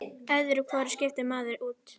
Öðru hvoru skiptir maður út.